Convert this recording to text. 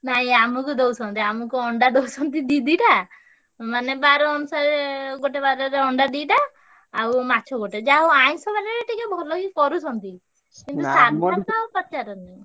ନାଇଁ ଆମୁକୁ ଦଉଛନ୍ତି। ଆମୁକୁ ଅଣ୍ଡା ଦଉଛନ୍ତି ଦି ଦିଟା ମାନେ ବାର ଅନୁସାରେ ଗୋଟେ ବାରରେ ଅଣ୍ଡା ଦିଟା ଆଉ ମାଛ ଗୋଟେ। ଯାହା ହଉ ଆଇଂଷ ବାରରେ ଟିକେ ଭଲ ହିଁ କରୁଛନ୍ତି। ସାଧା ତ ପଚାରେନା।